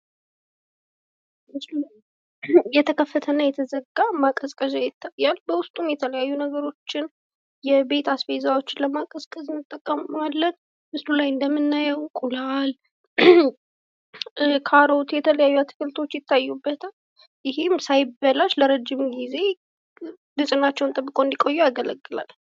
የተከፈተና እና የተዘጋ ማቀዝቀዣ ይታያል፤ በዉስጡም የተለያዩ ነገሮችን የቤት አስቤዛዎችን ለማቀዝቀዝ እንጠቀምበታለን ፤ በምስሉ ላይ እንደምናየዉም እንቁላል፣ ካሮት፣ የተለያዩ አትክልቶች ይታዩበታል ፤ ይህም ሳይበላሽ ለረጅም ጊዜ ንጽህናቸዉን ተብቀዉ እንዲቆዩ ያገለግላል።